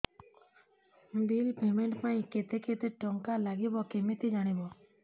bill payment ପାଇଁ କେତେ କେତେ ଟଙ୍କା ଲାଗିବ କେମିତି ଜାଣିବି